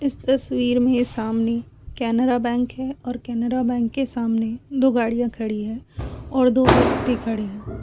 इस तस्वीर में सामने केनरा बैंक है और केनरा बैंक के सामने दो गाड़ियां खड़ी है और दो कुत्ते खड़े है।